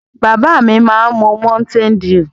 Bàbá mi má n mu mountain dew.